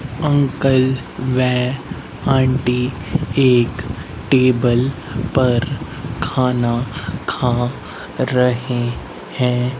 Uncle वे aunty एक table पर खाना खा रहे हैं।